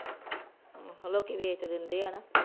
ਹੂ ਲੋਕੀ ਵੇਚ ਦਿੰਦੇ ਹੈ ਨਾ